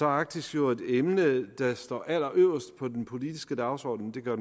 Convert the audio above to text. arktis jo et emne der står allerøverst på den politiske dagsorden det gør